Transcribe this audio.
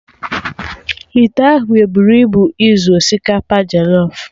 Ite ahụ eburu ibu izu osikapa jọlọf?